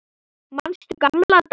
Manstu gamla daga?